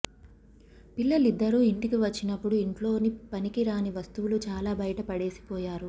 పిల్లలిద్దరూ ఇంటికి వచ్చినప్పుడు ఇంట్లోని పనికిరాని వస్తువులు చాలా బయటపడేసి పోయారు